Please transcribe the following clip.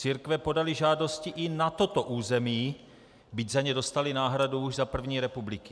Církve podaly žádosti i na toto území, byť za ně dostaly náhradu už za první republiky.